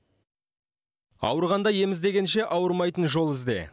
ауырғанда ем іздегенше ауырмайтын жол ізде